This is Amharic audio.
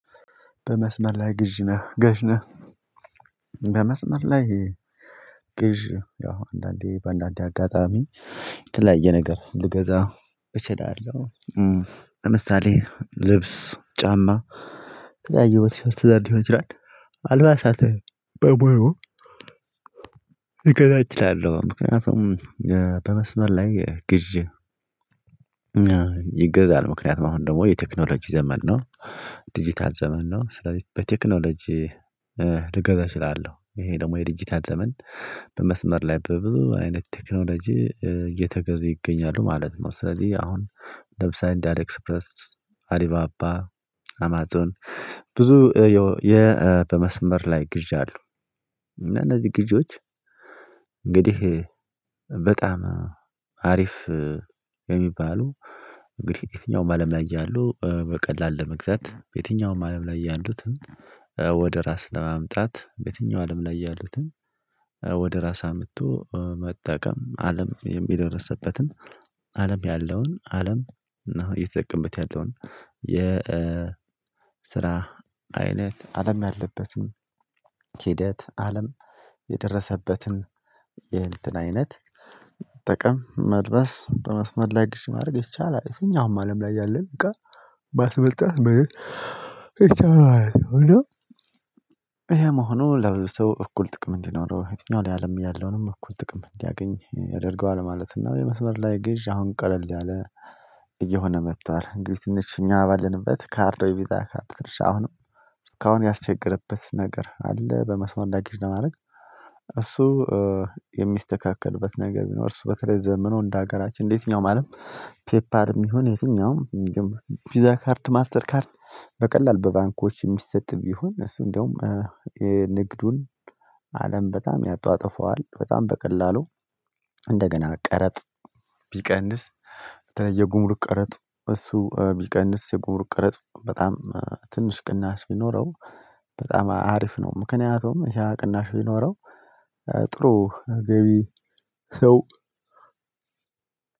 በመስመር ላይ ግዥ ነህ ገዥ ነህ? በመስመር ላይ ግዥ ያው አንዳንዴ በአንዳንዴ አጋጣሚ የተለያየ ነገር ልገዛ እችላለሁ። ለምሳሌ ልብስ ጫማ የተለያየው በቲሸርት ዘርዎች ይላል አልባሳትን በሙሉ ልገዛ እችላለው ምክንያቱም በመስመር ላይ ግዢ። ይገዛል ምክንያቱም አሁን ደግሞ የቴክኖሎጂ ዘመን ነው። ዲጂታል ዘመን ነው ስለዚህ በቴክኖሎጂ ልገዛ እችላለሁ ይሄ ደግሞ የድጅታት ዘመን በመስመር ላይ በብዙ አይነት ቴክኖሎጂ እየተገዙ ይገኛሉ ማለት ነው። ስለዚህ አሁን ደብሳይንት ኤክስፕረስ አሊባባ አማጦን ብዙ የመስመር ላይ ግዣሉ። እነዚህ ግዢዎች እንግዲህ በጣም አሪፍ የሚባሉ እንግዲህ የትኛውም አለም ላይ ያሉ በቀላል ለመግዛት የትኛውም አለም ላይ ያሉትን ወደ ራስ ለማምጣት በየትኛው አለም ላይ ያሉትን ወደ ራስ አምጥቶ መጠቀም አለም የሚደርስበትን አለም ያለውን አለም እና እየተጠቀመበት ያለውን የ ስራ አይነት አለም ያለበትም ሂደት አለም የደረሰበትን የእንትን አይነት ጥቅም መልበስ በመስመር ላይ ግዚ ማድረግ እቻ ላይ እተኛውም አለም ላይ ያለን እቃ ባስመጣህ እቻ ላይ ነው ነው። ይሄ መሆኑ ለብዙ ሰው እኩል ጥቅም እንዲኖረው የትኛውን ያለም ያለውንም እኩል ጥቅም እንዲያገኝ ያደርገዋል ማለት ነው። የመስመር ላይ ግዥ አሁን ቀለል ያለ እየሆነ መጥቷል። እንግዲህ ትንሽ እኛ ባልንበት ካርዶ የቪዛ ካርድ ትርሻ አሁንም እስካሁን ያስቸገረበት ነገር አለ። በመስመር ግዥ ለማድረግ እሱ የሚስተካከልበት ነገር ቢኖር እሱ በተለይ ዘመነው እንደ ሀገራችን እንዴትኛው ማለት ፔፓል የሚሆነው የትኛውም ፒዛ ካርት ማስተር ካርት በቀላል በባንኮች የሚሰጥ ቢሆን እነሱ እንደውም ንግዱን አለም በጣም ያጧጥፈዋል። በጣም በቀላሉ እንደገና ቀረጥ ቢቀንስ የጉምርክ ቀረጥ እሱ ቢቀንስ የጉምርክ ቅርጽ በጣም ትንሽ ቅናሽ ቢኖረው በጣም አሪፍ ነው። ምክንያቱም ያ ቅናሽ ቢኖረው ጥሩ ገቢ ሰው